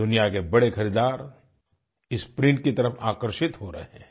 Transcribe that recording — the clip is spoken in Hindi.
दुनिया के बड़े खरीदार इस प्रिंट की तरफ आकर्षित हो रहे हैं